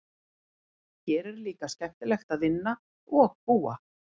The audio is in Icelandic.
Hér er líka skemmtilegt að vinna og búa.